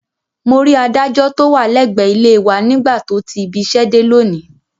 Mo rí adájọ́ tó wà lẹ́gbẹ̀ẹ́ ilé e wa nígbà tó ti ibiṣẹ́ dé lónìí